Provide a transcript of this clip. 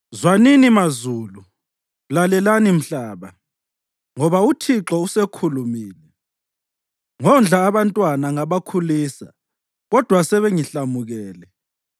Zwanini, mazulu! Lalelani, mhlaba! Ngoba uThixo usekhulumile: “Ngondla abantwana ngabakhulisa, kodwa sebengihlamukele.